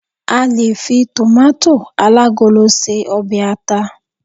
a lè fi tomato alagolo se obe ata